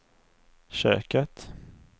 köket